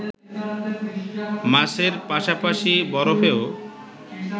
মাছের পাশাপাশি বরফেও